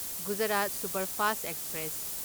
Gujarat superfast express